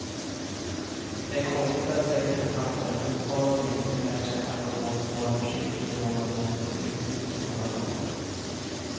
Det är konstigt att sex författare fortfarande inte lärt sig att man måste vara försiktig med var man låter sig utnyttjas i våra dagar.